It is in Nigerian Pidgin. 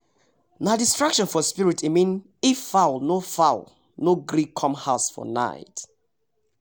nah distraction for spirit e mean if fowl no fowl no gree come house for night